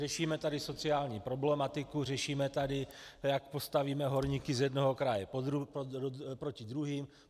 Řešíme tady sociální problematiku, řešíme tady, jak postavíme horníky z jednoho kraje proti druhým.